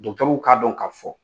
Dɔgɔtɛrɛw ka'a don ka fɔ